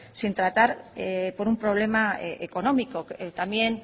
sin tratar por un problema económico también